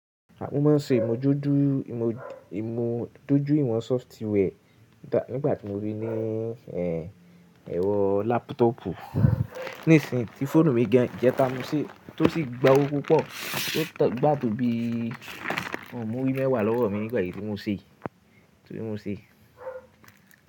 À mọ máa ń ṣe ìmódojú ìmódojú ìwọ̀n software nígbà tí mo rí i ní ẹwọ laptop nísin tí fóònù mi jẹ́ ta mú ṣe tó sì gba owó púpọ̀, tó gba tó bí ọmùlúrì mẹ́wàá lọ́wọ́ mi nígbà tí mo ṣe é. Tóbí mo ṣe é.